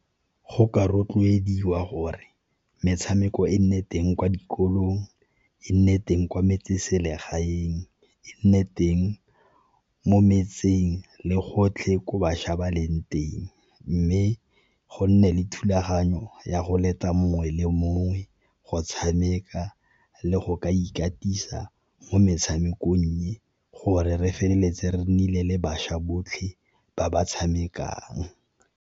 Go ka rotloediwa gore metshameko e nne teng kwa dikolong, e nne teng kwa metseselegaeng, e nne teng mo metseng le gotlhe gore bašwa ba leng teng. Mme go nne le thulaganyo ya go leta mongwe le mongwe go tshameka le go ka ikatisa mo metshamekong e, gore re feleletse re nnile le bašwa botlhe ba ba tshamekang.